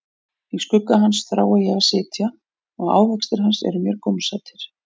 Í skugga hans þrái ég að sitja, og ávextir hans eru mér gómsætir.